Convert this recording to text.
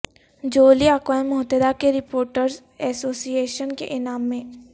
جولی اقوام متحدہ کے رپورٹرز ایسوسی ایشن کے انعام میں